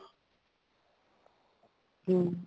ਹਮ